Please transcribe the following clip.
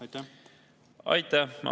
Aitäh!